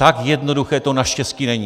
Tak jednoduché to naštěstí není.